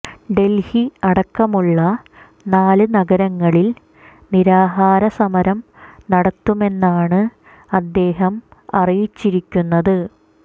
ഡൽഹി അടക്കമുള്ള നാല് നഗരങ്ങളിൽ നിരാഹാര സമരം നടത്തുമെന്നാണ് അദ്ദേഹം അറിയിച്ചിരിക്കുന്നത്